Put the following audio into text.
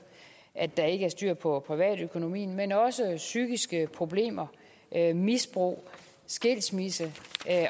at der ikke er styr på privatøkonomien men også psykiske problemer misbrug skilsmisse